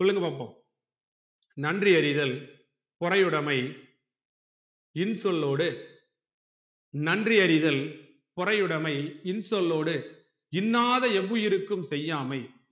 சொல்லுங்க பாப்போம் நன்றி அறிதல் பொறையுடைமை இன்சொல்லோடு நன்றி அறிதல் பொறையுடைமை இன்சொல்லோடு இண்ணாத எவ்வுயிர்க்கும் செய்யாமை